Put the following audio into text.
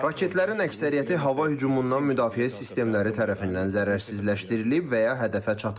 Raketlərin əksəriyyəti hava hücumundan müdafiə sistemləri tərəfindən zərərsizləşdirilib və ya hədəfə çatmayıb.